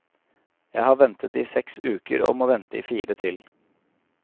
Jeg har ventet i seks uker og må vente i fire til.